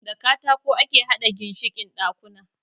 Da katako ake haɗa ginshikin ɗakuna.